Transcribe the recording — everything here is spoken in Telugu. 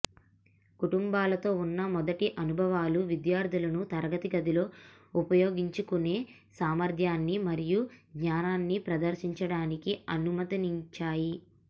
కుటుంబాలతో ఉన్న మొదటి అనుభవాలు విద్యార్థులను తరగతి గదిలో ఉపయోగించుకునే సామర్థ్యాన్ని మరియు జ్ఞానాన్ని ప్రదర్శించడానికి అనుమతించాయి